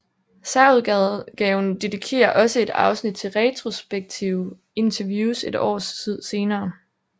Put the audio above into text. Særudgaven dedikerer også et afsnit til retrospektive interviews et år senere